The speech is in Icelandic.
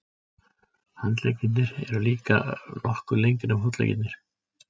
Handleggirnir eru líka nokkuð lengri en fótleggirnir.